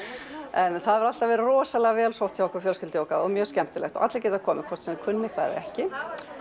en fjölskyldujógað hefur alltaf verið rosalega vel sótt hjá okkur og mjög skemmtilegt allir geta komið hvort sem þeir kunna eitthvað eða ekki